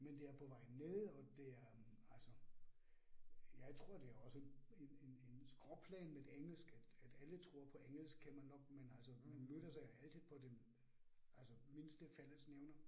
Men det er på vej ned og det er hm altså jeg tror det også en en en skråplan med engelsk, at at alle tror på engelsk kan man nok men altså man mødtes altid på den altså mindste fællesnævner